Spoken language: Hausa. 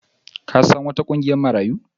Ka san wata ƙungiyar Marayu?